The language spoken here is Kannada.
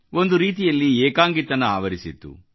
ಒಂದು ರೀತಿಯಲ್ಲಿ ಏಕಾಂಗಿತನ ಆವರಿಸಿತ್ತು